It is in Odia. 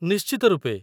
ନିଶ୍ଚିତ ରୂପେ।